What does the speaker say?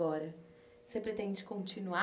Agora... Você pretende continuar?